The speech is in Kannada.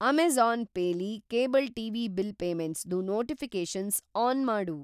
ಅಮೇಜಾ಼ನ್‌ ಪೇ ಲಿ ಕೇಬಲ್‌ ಟಿವಿ ಬಿಲ್ ಪೇಮೆಂಟ್ಸ್‌ದು ನೋಟಿಫಿ಼ಕೇಷನ್ಸ್‌ ಆನ್ ಮಾಡು.